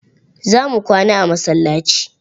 Za mu kwana a masallaci.